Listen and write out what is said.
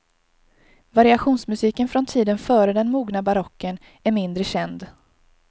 Variationsmusiken från tiden före den mogna barocken är mindre känd.